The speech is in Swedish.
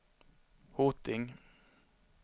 Hoting